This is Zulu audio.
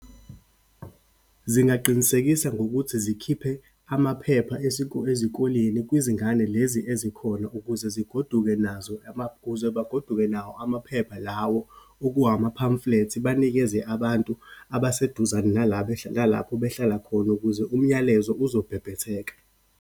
Zingaqinisekisa ngokuthi zikhiphe amaphepha esiko ezikoleni kwizingane lezi ezikhona ukuze zigoduke nazo , kuze bagoduke nawo amaphepha lawo oku ama-pamphlets, banikeze abantu abaseduzane nala nalapho behlala khona ukuze umyalezo uzobhebhetheka.